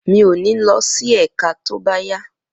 Mi ò ní lọ sí ẹ̀ka tó bá yá